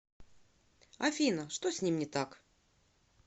афина что с ним не так